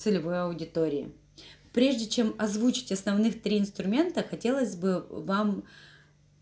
целевой аудитории прежде чем озвучить основных три инструмента хотелось бы вам